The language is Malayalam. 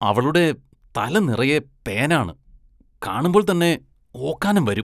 അവളുടെ തല നിറയെ പേനാണ്, കാണുമ്പോള്‍ തന്നെ ഓക്കാനം വരും.